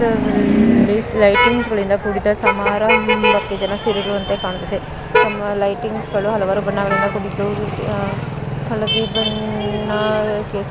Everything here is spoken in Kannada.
ಇಲ್ಲಿ ಲೈಟಿಂಗ್ಸ್ ಗಳಿಂದ ಕೂಡಿದ ಸಮಾರಂಭಕೆ ಜನ ಸೇರಿರುವಂತೆ ಕಾಣಿಸುತ್ತದೆ ಆ ಲೈಟಿಂಗ್ಸ್ ಗಳು ಹಲವಾರು ಬಣ್ಣಗಳಿಂದ ಕೂಡಿದ್ದು ಹಳದಿ ಬಣ್ಣ ಕೇಸರಿ ಬಣ್ಣ .